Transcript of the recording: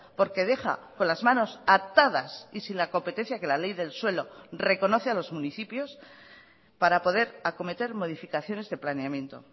porque deja con las manos atadas y sin la competencia que la ley del suelo reconoce a los municipios para poder acometer modificaciones de planeamiento